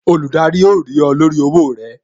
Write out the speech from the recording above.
Olùdarí ó rí ọ lórí owó rẹ